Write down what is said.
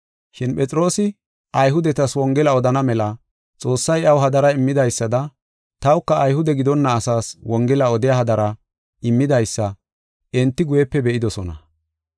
Shin Phexroosi, Ayhudetas Wongela odana mela Xoossay iyaw hadara immidaysada tawuka Ayhude gidonna asaas Wongela odiya hadara immidaysa enti guyepe be7idosona.